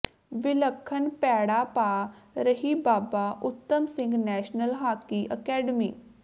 ਵਿਲੱਖਣ ਪੈੜਾਂ ਪਾ ਰਹੀ Baba Uttam Singh national hockey academy